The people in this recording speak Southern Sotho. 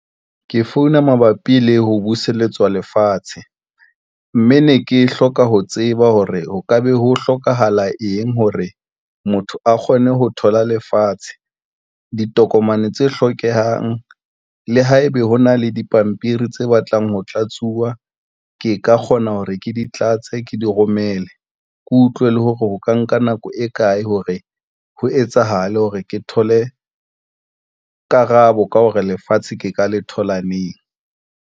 Ke founa mabapi le ho buseletswa lefatshe mme ne ke hloka ho tseba hore ho ka be ho hlokahala eng hore motho a kgone ho thola lefatshe, ditokomane tse hlokehang. Le haebe ho na le dipampiri tse batlang ho tlatsuwa, ke ka kgona hore ke di tlatse ke di romele, ke utlwe le hore ho ka nka nako e kae hore ho etsahala hore ke thole karabo ka hore lefatshe ke ka le thola neng.